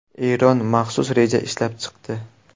Eron maxsus reja ishlab chiqdi.